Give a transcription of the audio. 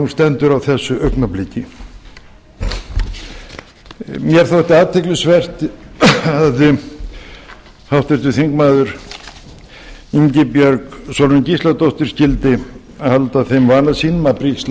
hún stendur á þessu augnabliki mér þótti athyglisvert að háttvirtur þingmaður ingibjörg sólrún gísladóttir skyldi halda þeim vana sínum að brigsla